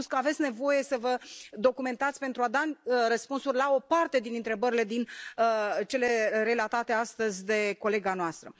Ați spus că aveți nevoie să vă documentați pentru a da răspunsuri la o parte din întrebările, din cele relatate astăzi de colega noastră.